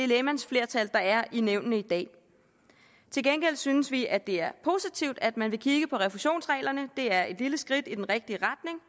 lægmandsflertal der er i nævnene i dag til gengæld synes vi at det er positivt at man vil kigge på refusionsreglerne det er et lille skridt i den rigtige